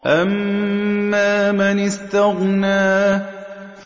أَمَّا مَنِ اسْتَغْنَىٰ